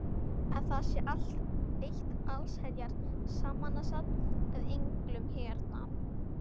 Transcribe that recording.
Að það sé eitt allsherjar samansafn af englum hérna!